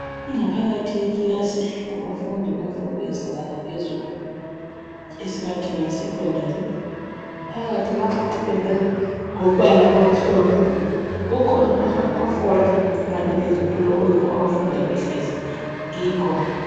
Ingaphakathi yekilasi yabafundi bemfundo yezinga laphezulu esingathi ngeyesecondary phakathi lapha kupendwe ngombala omhlophe kukhona amatafula kanye ezitulo okuyikho abafunda behlezi kikho